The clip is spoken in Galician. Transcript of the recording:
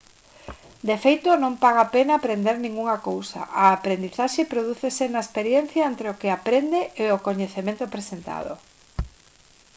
de feito non paga a pena aprender ningunha cousa a aprendizaxe prodúcese na experiencia entre o que aprende e o coñecemento presentado